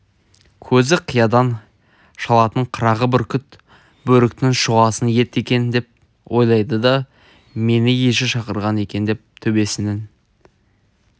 көзі қиядан шалатын қырағы бүркіт бөріктің шұғасын ет екен деп ойлайды да мені еже шақырған екен деп төбесінің